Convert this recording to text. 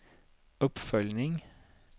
uppföljning